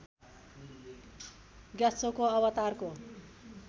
ग्यात्सोको अवतारको